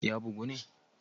Ya bugu ne?